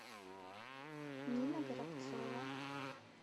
нина горобцова